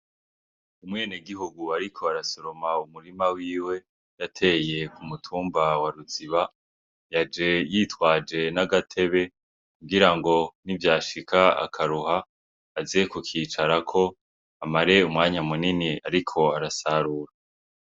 Umwenegihugu ariko arasaroma umurima wiwe yateye kumutumba waruziba yaje yitwaje n'agatebe kugira nivyashika akaruha aze kukicarako amare umwanya munini ariko arasarura.